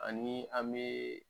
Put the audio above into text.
Ani an bee